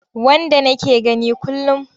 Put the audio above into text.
Wanda nake gani kullum.